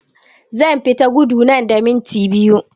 Zan fita gudu nan da minti biyu